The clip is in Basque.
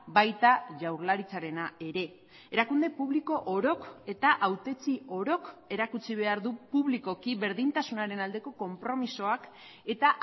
baita jaurlaritzarena ere erakunde publiko orok eta hautetsi orok erakutsi behar du publikoki berdintasunaren aldeko konpromisoak eta